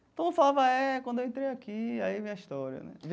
Então eu falava, é, quando eu entrei aqui, aí vem a história, né?